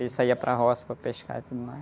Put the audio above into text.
Eles saíam para a roça para pescar e tudo mais.